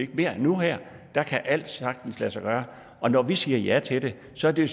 det mere nu kan alt sagtens lade sig gøre og når vi siger ja til det så er det